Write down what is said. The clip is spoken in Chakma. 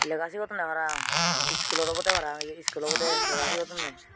lega sigodondey parapang skulot obodey parapang iskul obodey lega sigodondey.